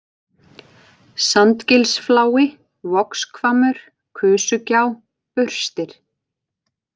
Sandgilsflái, Vogshvammur, Kusugjá, Burstir